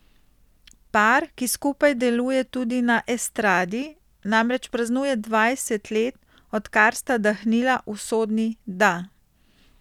Par, ki skupaj deluje tudi na estradi, namreč praznuje dvajset let, odkar sta dahnila usodni da.